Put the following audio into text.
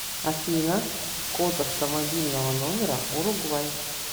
афина код автомобильного номера уругвай